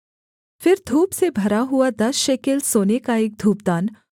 फिर धूप से भरा हुआ दस शेकेल सोने का एक धूपदान